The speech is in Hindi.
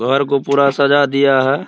घर को पूरा सजा दिया है ।